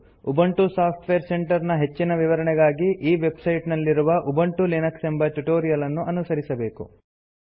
Ubuntu software centre ನ ಹೆಚ್ಚಿನ ವಿವರಣೆಗಾಗಿ ಈ ವೆಬ್ಸೈಟ್ ನಲ್ಲಿರುವ ಉಬಂಟು ಲಿನಕ್ಸ್ ಎಂಬ ಟ್ಯುಟೋರಿಯಲ್ ಅನ್ನು ಅನುಸರಿಸಬಹುದು